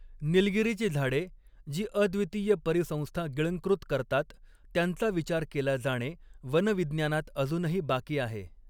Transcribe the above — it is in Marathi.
निलगिरीची झाडे, जी अद्वितीय परिसंस्था गिळंकृत करतात, त्यांचा विचार केला जाणे वनविज्ञानात अजूनही बाकी आहे.